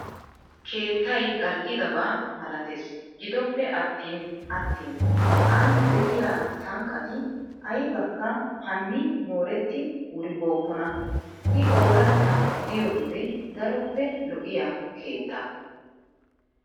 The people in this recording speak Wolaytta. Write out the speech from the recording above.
Keettayi gal'idaba malates gidoppe attin attin an de'iyaa sanqqati ayibaakka hani mooretti wuribookkona. I ooratta diyoo wode daroppe lo'iyaa keetta.